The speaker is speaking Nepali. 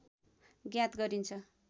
ज्ञात गरिन्छ